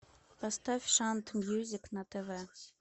поставь шант мьюзик на тв